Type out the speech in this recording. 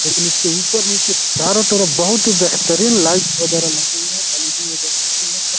लेकिन इसके ऊपर-नीचे चारो तरफ बहोत ही बेहतरीन लाइट वगैरह लगी हुई है। एलईडी वगैरह --